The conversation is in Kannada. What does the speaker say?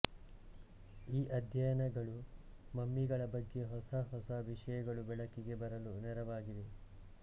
ಈ ಅಧ್ಯಯನಗಳು ಮಮ್ಮಿಗಳ ಬಗ್ಗೆ ಹೊಸ ಹೊಸ ವಿಷಯಗಳು ಬೆಳಕಿಗೆ ಬರಲು ನೆರವಾಗಿವೆ